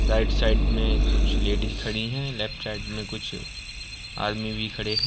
right side में कुछ ladies खड़ी हैं लेफ्ट साइड में कुछ आदमी भी खड़े --